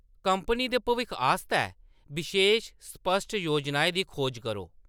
Company दे भविक्खै आस्तै बशेश, स्पश्ट योजनाएं दी खोज करो।